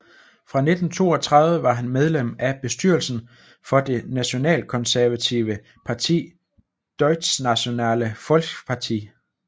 Fra 1932 var han medlem af bestyrelsen for det nationalkonservative parti Deutschnationale Volkspartei